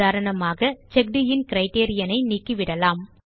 உதாரணமாக செக்ட் இன் கிரைட்டீரியன் ஐ நீக்கிவிடலாம்